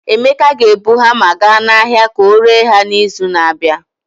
Emeka ga-ebu hamma gaa n'ahịa ka ọ ree ha n'izu na-abịa.